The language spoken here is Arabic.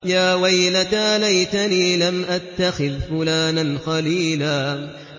يَا وَيْلَتَىٰ لَيْتَنِي لَمْ أَتَّخِذْ فُلَانًا خَلِيلًا